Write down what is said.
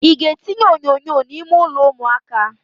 Ị ga-etinye onyonyo n'ime ụlọ ụmụaka?